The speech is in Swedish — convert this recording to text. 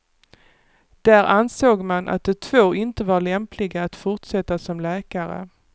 Där ansåg man att de två inte var lämpliga att fortsätta som läkare.